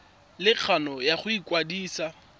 le kgano ya go ikwadisa